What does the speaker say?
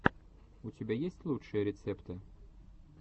у тебя есть лучшие рецепты